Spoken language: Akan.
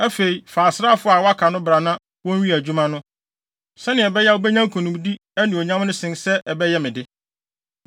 Afei, fa asraafo a wɔaka no bra na wonwie adwuma no, sɛnea ɛbɛyɛ a, wubenya nkonimdi anuonyam no sen sɛ ɛbɛyɛ me de.”